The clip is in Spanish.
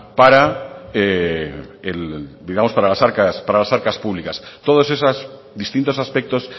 para digamos para las arcas públicas todos esos distintos aspectos